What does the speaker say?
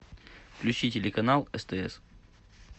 включи телеканал стс